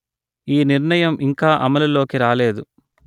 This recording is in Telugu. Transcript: ఈ నిర్ణయం ఇంకా అమలులోకి రాలేదు